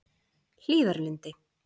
Hlíðarlundi